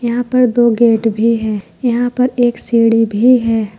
यहां पर दो गेट भी है यहां पर एक सीढ़ी भी है।